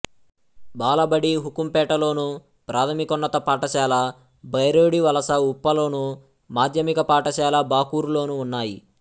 బాలబడి హుకుంపేటలోను ప్రాథమికోన్నత పాఠశాల బైరోడివలసఉప్పలోను మాధ్యమిక పాఠశాల బాకూరులోనూ ఉన్నాయి